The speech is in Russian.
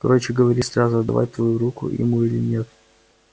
короче говори сразу отдавать твою руку ему или нет